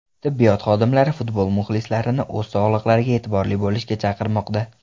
Tibbiyot xodimlari futbol muxlislarini o‘z sog‘liqlariga e’tiborli bo‘lishga chaqirmoqda.